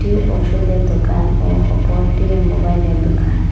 ঔষধের দোকান ও অপরটি মোবাইলের দুকান ।